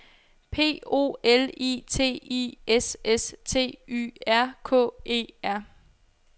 P O L I T I S S T Y R K E R